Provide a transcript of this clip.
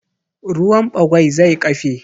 Ruwan ɓagwai zai ƙafe